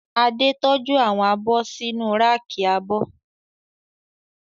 Adé tọ́jú àwọn abọ́ sínu ráàkì abọ́